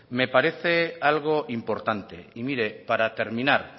me parece algo importante y mire para terminar